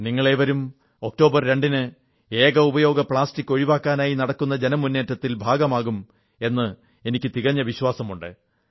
നിങ്ങളേവരും October 2 ന് ഏകോപയോഗ plastic ഒഴിവാക്കാനായി നടക്കുന്ന ജനമുന്നേറ്റത്തിൽ ഭാഗമാകും എന്നെനിക്ക് തികഞ്ഞ വിശ്വാസമുണ്ട്